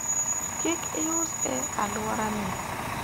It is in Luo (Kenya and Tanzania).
kik ius e alwora ni